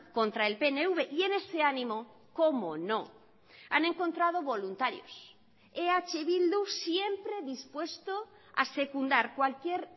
contra el pnv y en ese ánimo cómo no han encontrado voluntarios eh bildu siempre dispuesto a secundar cualquier